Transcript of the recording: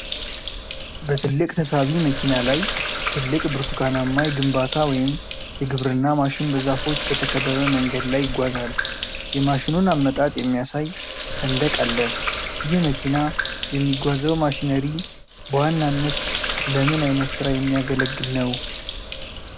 በትልቅ ተሳቢ መኪና ላይ ትልቅ ብርቱካናማ የግንባታ ወይም የግብርና ማሽን በዛፎች በተከበበ መንገድ ላይ ይጓዛል። የማሽኑን አመጣጥ የሚያሳይ ሰንደቅ አለ። ይህ መኪና የሚጓዘው ማሽነሪ በዋናነት ለምን ዓይነት ሥራ የሚያገለግል ነው?